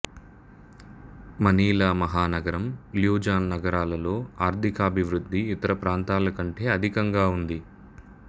Manila మహానగరం Luzon నగరాలలో ఆర్థికాభివృద్ధి ఇతర ప్రాంతాలకంటే అధికంగా ఉంది